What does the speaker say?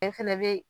fana bɛ